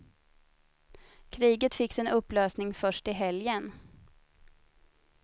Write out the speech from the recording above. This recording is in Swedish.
Kriget fick sin upplösning först i helgen.